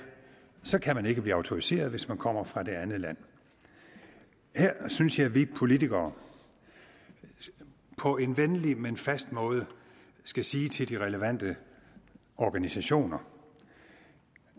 så kan man ikke blive autoriseret hvis man kommer fra det andet land her synes jeg at vi politikere på en venlig men fast måde skal sige til de relevante organisationer